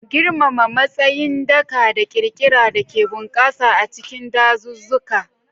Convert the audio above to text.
Girmama tsayin daka da ƙirƙira da ke bunƙasa a cikin dazuzzuka.